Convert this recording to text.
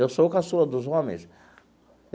Eu sou o caçula dos homens.